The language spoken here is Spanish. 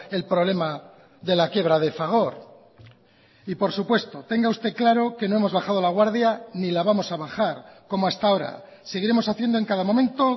el problema de la quiebra de fagor y por supuesto tenga usted claro que no hemos bajado la guardia ni la vamos a bajar como hasta ahora seguiremos haciendo en cada momento